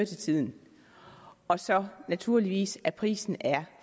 til tiden og så naturligvis at prisen er